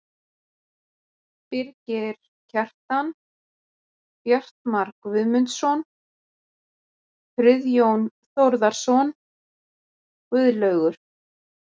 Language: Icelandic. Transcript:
Birgir Kjaran, Bjartmar Guðmundsson, Friðjón Þórðarson, Guðlaugur